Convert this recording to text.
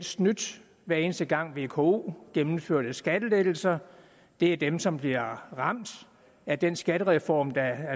snydt hver eneste gang vko gennemførte skattelettelser det er dem som bliver ramt af den skattereform der